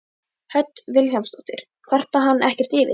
Hödd Vilhjálmsdóttir: Kvarta hann ekkert yfir því?